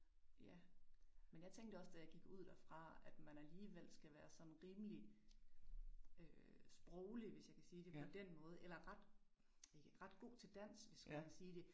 Ja, men tænkte også, da jeg gik ud derfra at man alligevel skal være sådan rimelig øh sproglig, hvis jeg kan sige det på den måde, eller ret æh ret god til dansk, hvis jeg kan sige det